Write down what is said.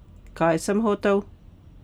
Kaj sem hotel?